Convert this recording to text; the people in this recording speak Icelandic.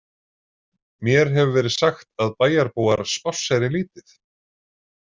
Mér hefur verið sagt að bæjarbúar spásseri lítið?